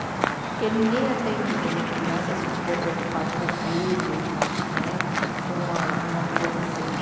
Né. Porque ninguém atende bem a criança se estiver preocupado com o filho né, com uma, alguma coisa assim.